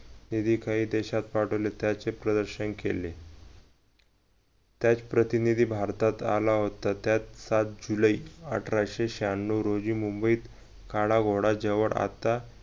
हे ही काही देशात पाठवले त्याचे प्रदर्शन केले. त्यात प्रतिनिधी भारतात आला होता. त्यात सात जुलै अठराशे शहाण्णव रोजी मुबंईत काडा घोडा जोवर आता